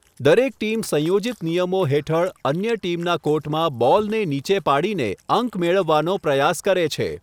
દરેક ટીમ સંયોજિત નિયમો હેઠળ અન્ય ટીમના કોર્ટમાં બોલને નીચે પાડીને અંક મેળવવાનો પ્રયાસ કરે છે.